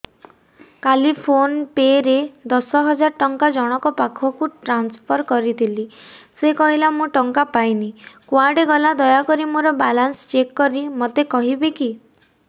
କାଲି PhonePe ରେ ଦଶ ହଜାର ଟଙ୍କା ଜଣକ ପାଖକୁ ଟ୍ରାନ୍ସଫର୍ କରିଥିଲି ସେ କହିଲା ମୁଁ ଟଙ୍କା ପାଇନି କୁଆଡେ ଗଲା ଦୟାକରି ମୋର ବାଲାନ୍ସ ଚେକ୍ କରି ମୋତେ କହିବେ କି